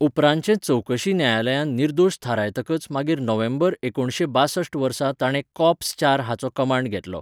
उपरांतचे चवकशी न्यायालयांत निर्दोश थारायतकच मागीर नोव्हेंबर एकुणशे बाशस्ट वर्सा ताणें कॉर्प्स चार हाचो कमांड घेतलो.